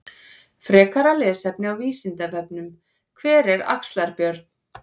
Frekara lesefni á Vísindavefnum: Hver var Axlar-Björn?